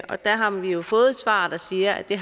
og der har vi jo fået et svar der siger at det